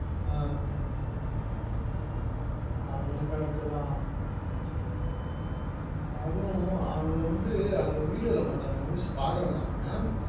ஆஹ் அதுவும் correct தா அதுவும் அது வந்து அந்த video ல மச்சான news பாக்குறேன் நானு